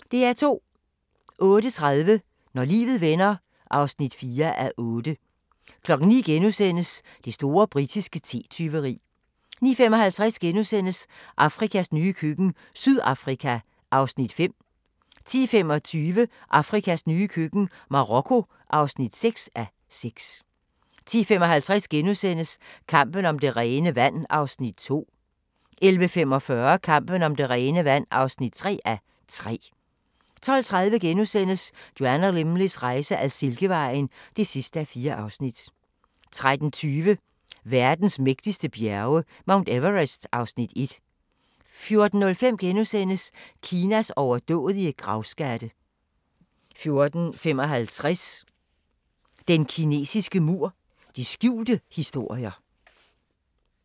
08:30: Når livet vender (4:8) 09:00: Det store britiske te-tyveri * 09:55: Afrikas nye køkken – Sydafrika (5:6)* 10:25: Afrikas nye køkken – Marokko (6:6) 10:55: Kampen om det rene vand (2:3)* 11:45: Kampen om det rene vand (3:3) 12:30: Joanna Lumleys rejse ad Silkevejen (4:4)* 13:20: Verdens mægtigste bjerge: Mount Everest (Afs. 1) 14:05: Kinas overdådige gravskatte * 14:55: Den kinesiske mur – de skjulte historier